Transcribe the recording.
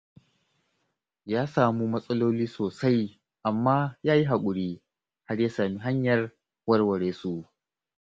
Ya samu matsaloli sosai, amma ya yi haƙuri, har ya sami hanyar warware su.